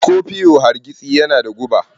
Scorpio hargitsi yana da guba.